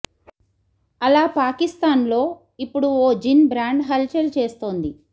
అలా పాకిస్తాన్ లో ఇప్పుడు ఓ జిన్ బ్రాండ్ హల్ చల్ చేస్తోంది